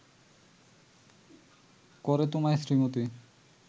করে তোমায় শ্রীমতী